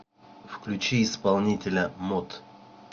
включи исполнителя мот